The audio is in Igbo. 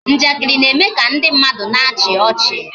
Njakịrị na-eme ka ndị mmadụ na-achị ọchị